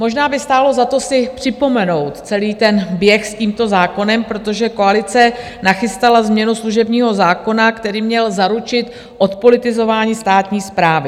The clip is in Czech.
Možná by stálo za to si připomenout celý ten běh s tímto zákonem, protože koalice nachystala změnu služebního zákona, který měl zaručit odpolitizování státní správy.